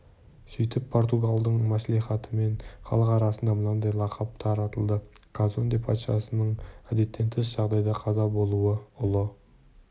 сөйтіп португалдың мәслихатымен халық арасына мынадай лақап таратылды казонде патшасының әдеттен тыс жағдайда қаза болуы ұлы